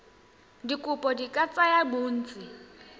dikopo di ka tsaya bontsi